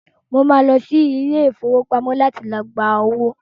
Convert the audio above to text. Mo máa lọ sí ilé-ìfowópamọ láti gbá owó.